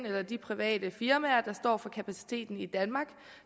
eller de private firmaer der står for kapaciteten i danmark